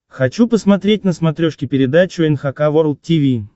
хочу посмотреть на смотрешке передачу эн эйч кей волд ти ви